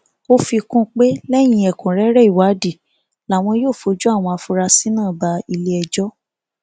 ó fi kún un pé lẹyìn ẹkúnrẹrẹ ìwádìí làwọn yóò fojú àwọn afurasí náà bá iléẹjọ